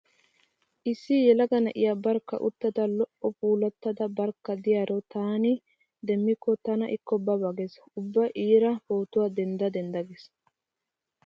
Issi yelaga na'iya barkka uttada lo'a puulattada barkka diyaro taani demmikko tana ikko ba ba gees. Ubba iira pootuwa dendda dendda gees.